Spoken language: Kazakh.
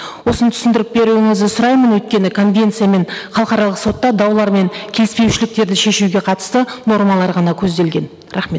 осыны түсіндіріп беруіңізді сұраймын өйткені конвенциямен халықаралық сотта даулар мен келіспеушіліктерді шешуге қатысты нормалар ғана көзделген рахмет